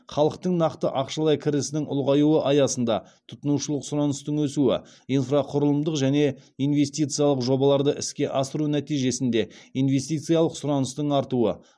халықтың нақты ақшалай кірісінің ұлғаюы аясында тұтынушылық сұраныстың өсуі инфрақұрылымдық және инвестициялық жобаларды іске асыру нәтижесінде инвестициялық сұраныстың артуы